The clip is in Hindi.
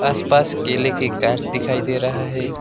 आसपास केले के दिखाई दे रहा है।